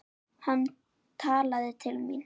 Hann talaði til mín.